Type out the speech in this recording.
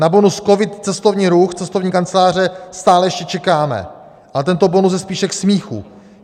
Na bonus COVID - Cestovní ruch, Cestovní kanceláře stále ještě čekáme, ale tento bonus je spíše k smíchu.